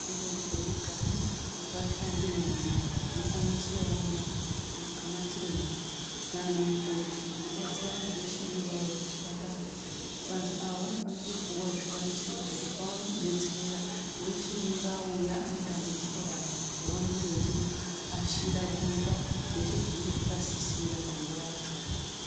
Muchipatara mega mega mune vashandi vemo vanosanganisira iwo vanachiremba nanamukoti vanobatsira vanhu vese vanenge vauya kuzvipatara . Vanhu ava vanofanira kupihwa zvikwanisiro zvekuti vakwanise kubetsereka wese anenge auya nedambudziko rake ,vanenge vachimuashira vomupe zvese zvinenge zvakasisira panguva yachona.